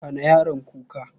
Hana yaron kuka.